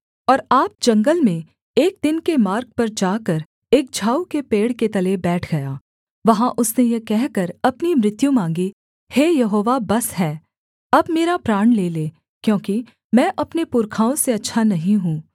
और आप जंगल में एक दिन के मार्ग पर जाकर एक झाऊ के पेड़ के तले बैठ गया वहाँ उसने यह कहकर अपनी मृत्यु माँगी हे यहोवा बस है अब मेरा प्राण ले ले क्योंकि मैं अपने पुरखाओं से अच्छा नहीं हूँ